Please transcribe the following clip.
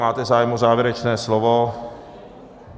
Máte zájem o závěrečné slovo?